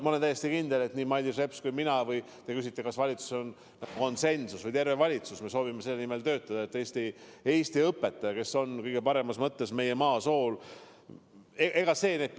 Ma olen täiesti kindel, et nii Mailis Reps kui ka mina ja terve valitsus – te küsisite, kas valitsuses on konsensus – soovime töötada selle nimel, et Eesti õpetaja, kes on kõige paremas mõttes meie maa sool,.